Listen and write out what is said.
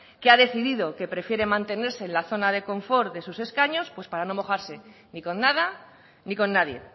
que ha decidido que prefiere mantenerse en la zona de confort de sus escaños pues para no mojarse ni con nada ni con nadie